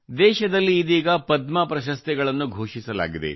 ದೇಶದಲ್ಲಿ ಇದೀಗ ಪದ್ಮ ಪ್ರಶಸ್ತಿಯನ್ನು ಘೋಷಿಸಲಾಗಿದೆ